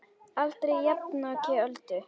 Aldrei jafnoki Öldu.